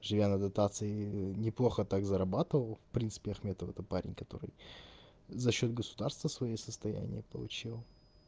живя на дотации неплохо так зарабатывал в принципе ахметов это парень который за счёт государства своё состояние получил